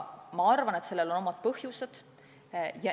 Ma arvan, et sellel on omad põhjused.